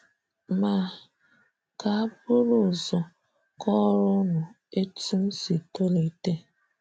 Ma ka bụrụ ụzọ kọọrọ ụnụ etụ́ m si tolite.